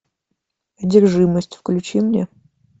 одержимость включи мне